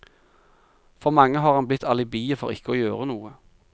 For mange har han blitt alibiet for ikke å gjøre noe.